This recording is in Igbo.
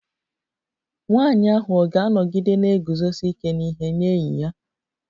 Nwanyị ahụ ọ̀ ga-anọgide na-eguzosi ike n'ihe nye enyi ya?